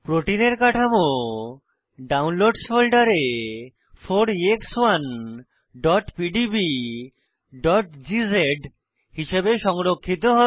প্রোটিনের কাঠামো ডাউনলোডসহ ফোল্ডারে 4ex1pdbগজ হিসাবে সংরক্ষিত হবে